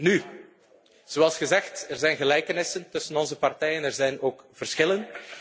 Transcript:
van niet. Nu, zoals gezegd, er zijn gelijkenissen tussen onze partijen. Er zijn ook verschillen.